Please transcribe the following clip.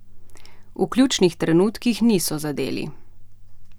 V ključnih trenutkih nismo zadeli.